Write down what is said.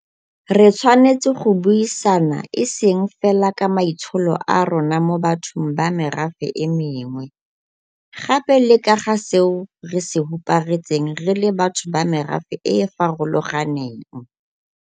Re tshwanetse go buisana e seng fela ka maitsholo a rona mo bathong ba merafe e mengwe, gape le ka ga seo re se huparetseng re le batho ba merafe e e farolo ganeng.